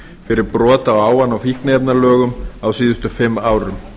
fyrir brot á ávana og fíkniefnalögum á síðastliðnum fimm árum